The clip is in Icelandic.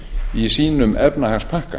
í sínum efnahagspakka